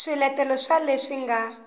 b swiletelo swa leswi nga